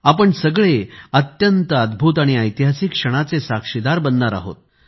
आपण सगळे अत्यंत अद्भुत आणि ऐतिहासिक क्षणाचे साक्षीदार बनणार आहोत